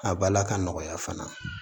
A bala ka nɔgɔya fana